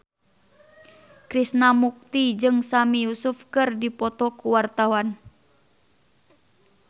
Krishna Mukti jeung Sami Yusuf keur dipoto ku wartawan